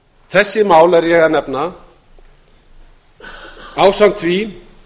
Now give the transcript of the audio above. þessi mál er ég að nefna ásamt því